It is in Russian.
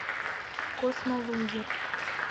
космолузер